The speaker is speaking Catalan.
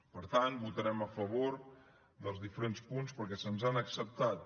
per tant votarem a favor dels diferents punts perquè se’ns han acceptat